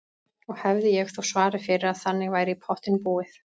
Og hefði ég þó svarið fyrir að þannig væri í pottinn búið.